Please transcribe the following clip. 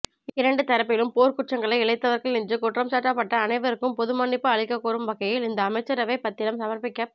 இரண்டு தரப்பிலும் போர்க்குற்றங்களை இழைத்தவர்கள் என்று குற்றம்சாட்டப்பட்ட அனைவருக்கும் பொதுமன்னிப்பு அளிக்கக் கோரும் வகையில் இந்த அமைச்சரவைப் பத்திரம் சமர்ப்பிக்கப்ப